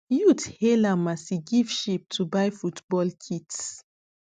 youth hail am as e give sheep to buy football kits